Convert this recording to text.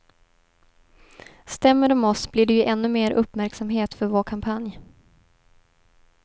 Stämmer de oss blir det ju ännu mer uppmärksamhet för vår kampanj.